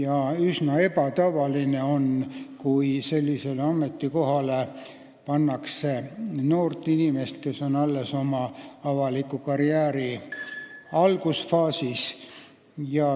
On üsna ebatavaline, et sellele kohale pannakse noor inimene, kes on oma avaliku tegevuse karjääri alguses.